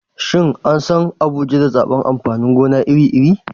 Shin an san Abuja da zabar amfanin gona iri-iri?